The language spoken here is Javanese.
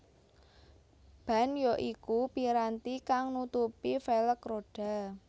Ban ya iku piranti kang nutupi velg rodha